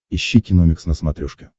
ищи киномикс на смотрешке